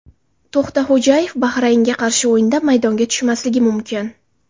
To‘xtaxo‘jayev Bahraynga qarshi o‘yinda maydonga tushmasligi mumkin .